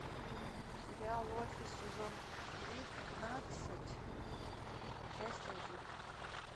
сериал офис сезон тринадцать часть один